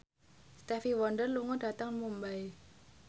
Stevie Wonder lunga dhateng Mumbai